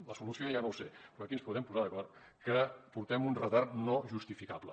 en la solució ja no ho sé però aquí ens podem posar d’acord que portem un retard no justificable